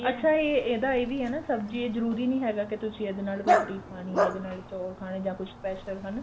ਅੱਛਾ ਇਹ ਇਹਦਾ ਇਹ ਵੀ ਆ ਨਾ ਸਬਜੀ ਇਹ ਜਰੂਰੀ ਨੀ ਕੀ ਇਹਦੇ ਨਾਲ ਰੋਟੀ ਖਾਣੀ ਏ ਚੋਲ ਜਾਂ ਕੁੱਝ special ਹਨਾ